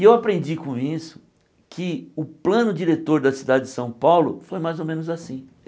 E eu aprendi com isso que o plano diretor da cidade de São Paulo foi mais ou menos assim.